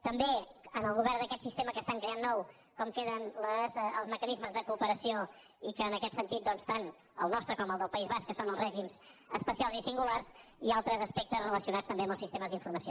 també en el govern d’aquest sistema que estan creant nou com queden els mecanismes de cooperació i en aquest sentit tant el nostre com el del país basc que són els règim especials i singulars i altres aspectes relacionats també amb els sistemes d’informació